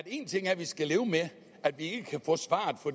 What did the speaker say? en ting er at vi skal leve med at vi